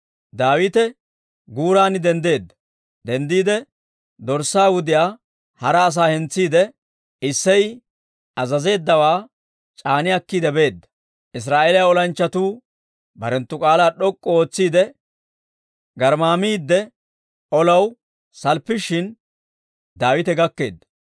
Daawite wontta guuraanna denddiide dorssaa wudiyaa hara asaa hentsiide, Isseyi azazeeddawaa c'aani akkiide beedda. Israa'eeliyaa olanchchatuu barenttu k'aalaa d'ok'k'u ootsiide garmmaamiidde olaw salppishin, Daawite gakkeedda.